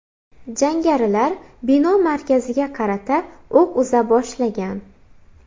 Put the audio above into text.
Jangarilar bino markaziga qarata o‘q uza boshlagan.